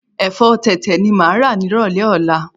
Ẹ̀fọ́ tẹ̀tẹ̀ ni mo máa rà nírọ̀lẹ́ ọ̀la.